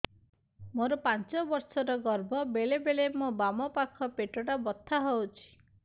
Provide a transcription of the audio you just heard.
ମୋର ପାଞ୍ଚ ମାସ ର ଗର୍ଭ ବେଳେ ବେଳେ ମୋ ବାମ ପାଖ ପେଟ ବଥା ହଉଛି